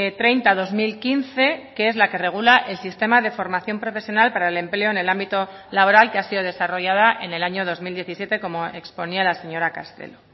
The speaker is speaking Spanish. treinta barra dos mil quince que es la que regula el sistema de formación profesional para el empleo en el ámbito laboral que ha sido desarrollada en el año dos mil diecisiete como exponía la señora castelo